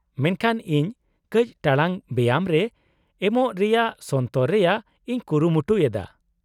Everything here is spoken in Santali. -ᱢᱮᱱᱠᱷᱟᱱ ᱤᱧ ᱠᱟᱹᱪ ᱴᱟᱲᱟᱝ ᱵᱮᱭᱟᱢ ᱨᱮ ᱮᱢᱚᱜ ᱨᱮᱭᱟᱜ ᱥᱚᱱᱛᱚᱨ ᱨᱮᱭᱟᱜ ᱤᱧ ᱠᱩᱨᱩᱢᱩᱴᱩᱭ ᱮᱫᱟ ᱾